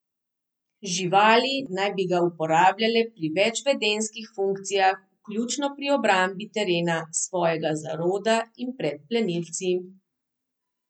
Živali naj bi ga uporabljale pri več vedenjskih funkcijah, vključno pri obrambi terena, svojega zaroda in pred plenilci.